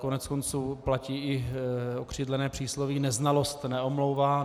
Koneckonců platí i okřídlené přísloví: Neznalost neomlouvá.